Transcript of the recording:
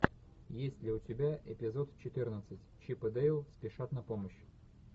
есть ли у тебя эпизод четырнадцать чип и дейл спешат на помощь